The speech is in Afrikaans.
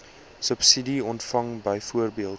subsidie ontvang byvoorbeeld